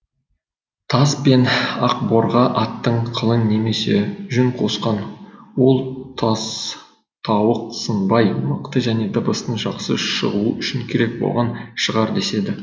тас пен ақборға аттың қылын немесе жүн қосқан ол тастауық сынбай мықты және дыбыстың жақсы шығуы үшін керек болған шығар деседі